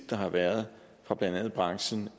der har været fra blandt andet branchen